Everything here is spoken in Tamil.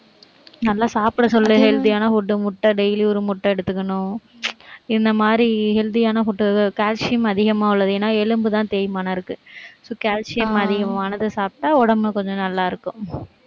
நல்லா சாப்பிட சொல்லு healthy யான food முட்டை daily ஒரு முட்டை எடுத்துக்கணும் இந்த மாதிரி healthy யான food, calcium அதிகமா உள்ளது. ஏன்னா, எலும்புதான் தேய்மானம் இருக்கு. so calcium அதிகமானதை சாப்பிட்டா உடம்பு கொஞ்சம் நல்லா இருக்கும்.